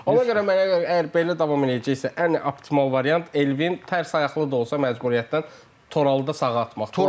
Ona görə mənə görə əgər belə davam eləyəcəksə, ən optimal variant Elvin tərs ayaqlı da olsa məcburiyyətdən Toralı da sağa atmaq.